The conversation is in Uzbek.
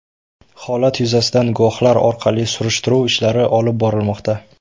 Holat yuzasidan guvohlar orqali surishtiruv ishlari olib borilmoqda.